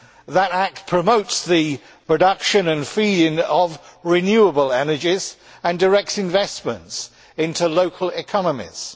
That Act promotes the production and feeding of renewable energies and directs investments into local economies.